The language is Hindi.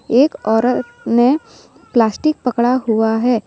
एक औरत ने प्लास्टिक पकड़ा हुआ है।